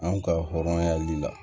An ka hɔrɔnyali la